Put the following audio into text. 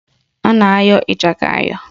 A na-ayọ ịchaka ayọ